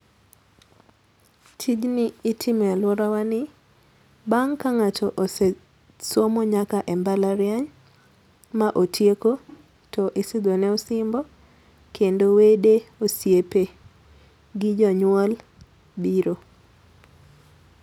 Tijni itimo e aluorawa ni bang' ka ng'ato ose somo nyaka e mbalariany ma otieko to isidho ne osimbo kendo wede, osiepe gi jonyuol biro.